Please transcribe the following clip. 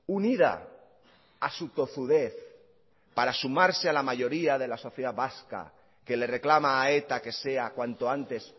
unida a su tozudez para sumarse a la mayoría de la sociedad vasca que le reclama a eta que sea cuanto antes